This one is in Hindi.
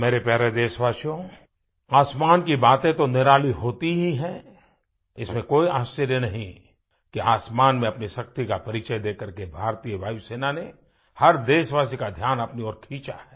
मेरे प्यारे देशवासियोआसमान की बातें तो निराली होती ही हैं इसमें कोई आश्चर्य नहीं कि आसमान में अपनी शक्ति का परिचय देकर के भारतीय वायुसेना ने हर देशवासी का ध्यान अपनी ओर खींचा है